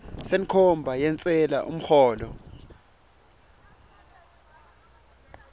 senkhomba yentsela umholo